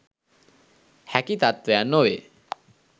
හැකි තත්ත්වයන් නොවේ.